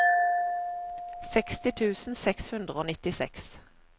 seksti tusen seks hundre og nittiseks